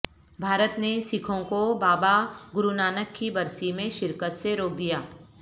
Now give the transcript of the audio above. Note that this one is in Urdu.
بھارت نے سکھوں کوبابا گرونانک کی برسی میں شرکت سے روک دیا